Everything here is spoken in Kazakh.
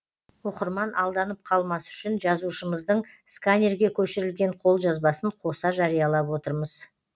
оқырман алданып қалмас үшін жазушымыздың сканерге көшірілген қолжазбасын қоса жариялап отырмыз